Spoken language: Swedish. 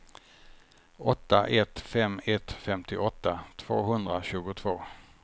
åtta ett fem ett femtioåtta tvåhundratjugotvå